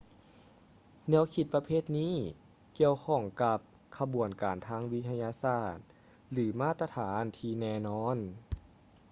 ແນວຄິດປະເພດນີ້ ກ່ຽວຂ້ອງກັບ ຂະບວນການທາງວິທະຍາສາດ ຫຼື ມາດຕະຖານທີ່ແນ່ນອນ